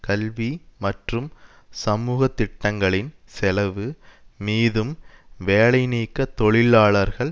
கல்வி மற்றும் சமூக திட்டங்களின் செலவு மீதும் வேலைநீக்க தொழிலாளர்கள்